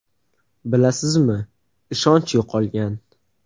Bilasizmi, ishonch yo‘qolgan.